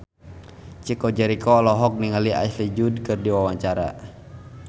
Chico Jericho olohok ningali Ashley Judd keur diwawancara